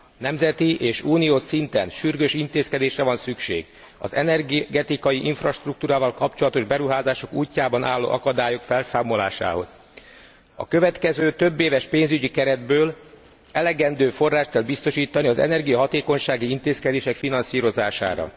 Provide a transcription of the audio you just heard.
Nemzeti és uniós szinten sürgős intézkedésre van szükség az energetikai infrastruktúrával kapcsolatos beruházások útjában álló akadályok felszámolásához. A következő több éves pénzügyi keretből elegendő forrást kell biztosítani az energiahatékonysági intézkedések finanszírozására.